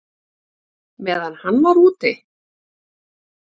Meðan hann var úti?